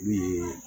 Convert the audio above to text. Min ye